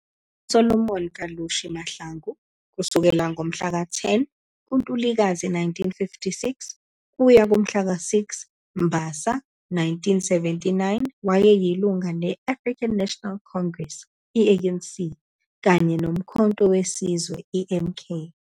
uSolomon Kalushi Mahlangu, 10 ngoNtulikazi 1956 - 6 ngoMbasa 1979, wayeyilunga leAfrican National Congress, ANC, kanye noUmkhonto weSizwe, MK.